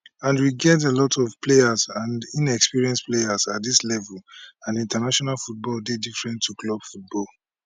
and we get a lot of young players and inexperienced players at dis level and international football dey different to club football